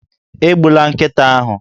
Egbula nkịta ahụ!